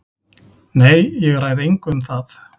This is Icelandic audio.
Nei, ég ræð engu um það.